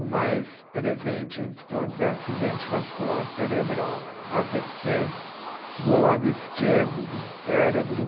O mais presente entre todos é o acidente vascular cerebral, A Vê Cê, do lado esquerdo do cérebro.